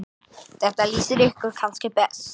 Þetta lýsir ykkur kannski best.